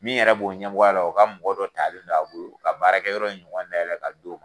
Min yɛrɛ b'o ɲɛmɔgɔya la o ka mɔgɔ dɔ talen don a bolo, u ka baarakɛ yɔrɔ ɲɔgɔn dayɛlɛ ka d'o ma.